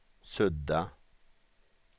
sudda